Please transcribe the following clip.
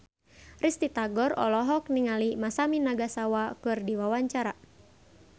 Risty Tagor olohok ningali Masami Nagasawa keur diwawancara